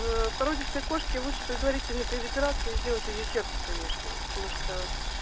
породистой кошке лучше предварительно перед операцией сделать узи сердца конечно потому что